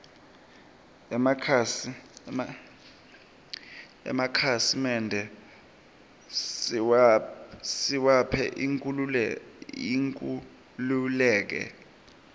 emakhasi mende siwaphe inkhululeke